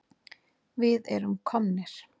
Við erum komnir!